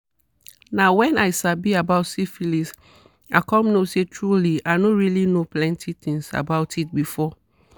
"na when i sabi about syphilis i come know say truely i no really know plenty thingsabout it before."